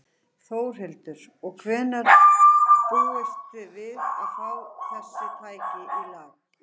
Þórhildur: Og hvenær búist þið við að fá þessi tæki í lag?